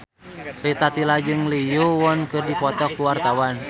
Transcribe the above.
Rita Tila jeung Lee Yo Won keur dipoto ku wartawan